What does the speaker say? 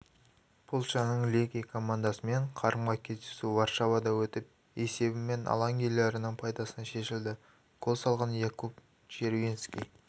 польшаның легие командасымен қарымта кездесу варшавада өтіп есебімен алаң иелерінің пайдасына шешілді гол салған якуб червиньски